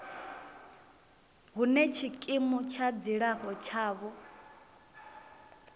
hune tshikimu tsha dzilafho tshavho